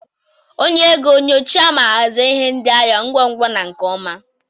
Onye ego, nyochaa ma hazie ihe ndị ahịa ngwa ngwa na nke ọma.